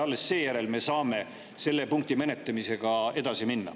Alles seejärel me saame selle punkti menetlemisega edasi minna.